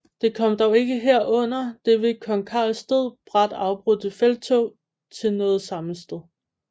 Det kom dog ikke her under det ved kong Carls død brat afbrudte felttog til noget sammenstød